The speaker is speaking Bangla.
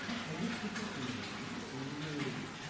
মানে কোভিদ থেকে চলে গেছেন না মানে কোভিদ এর